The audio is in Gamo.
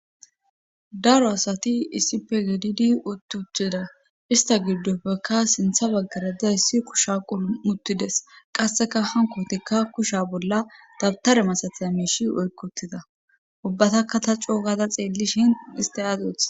daro asati issi pegddi utcheda ista giddofeka sintha baggarada issi kusha qulu muttides qasseka hankotikka kusha bolla dabtare masataya miishi oykkotida ubbatakka ta cookada xeellishin iste aaz otha